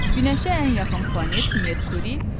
Günəşə ən yaxın planet Merkuridir.